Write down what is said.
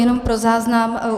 Jenom pro záznam.